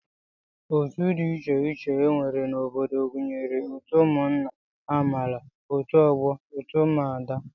Otu dị iche iche e nwere n'obodo gụnyere otu ụmụnna, amaala, otu ọgbọ, otu ụmụada